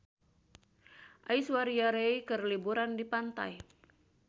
Aishwarya Rai keur liburan di pantai